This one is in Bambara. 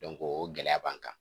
o gɛlɛya b'an kan